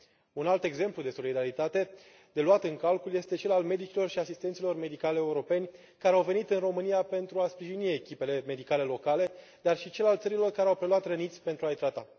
Un alt exemplu de solidaritate de luat în calcul este cel al medicilor și asistenților medicali europeni, care au venit în România pentru a sprijini echipele medicale locale, dar și cel al țărilor care au preluat răniți pentru a i trata.